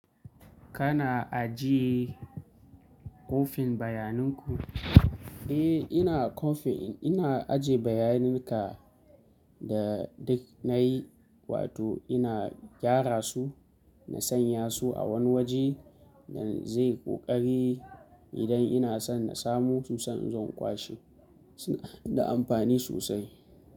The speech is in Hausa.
Kana ajiye ƙofin bayaninku? Eh ina ƙofin, ina ajiye bayaninka da duk nayi wato ina gyara su, na sanya su a wani waje da zai ƙoƙari idan ina son na samu susa in zo in kwashe. Suna da amfani sosai.